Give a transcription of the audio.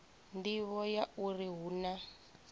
nḓivho ya uri hu na